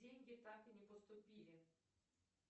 деньги так и не поступили